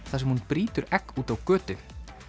þar sem hún brýtur egg úti á götu